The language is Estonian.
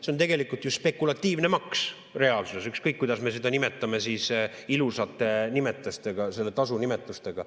See on tegelikult ju spekulatiivne maks reaalsuses, ükskõik kuidas me seda nimetame ilusate nimetustega, selle tasu nimetustega.